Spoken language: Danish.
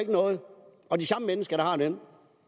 ikke noget og de samme mennesker der har dem og